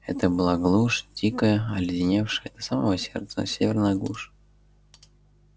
это была глушь дикая оледеневшая до самого сердца северная глушь